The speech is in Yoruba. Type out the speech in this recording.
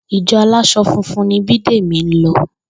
Ìjo̩ alás̩o̩ funfun ni Bídèmí ń lo̩